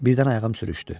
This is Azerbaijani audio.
Birdən ayağım sürüşdü.